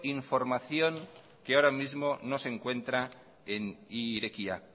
información que ahora mismo no se encuentra en irekia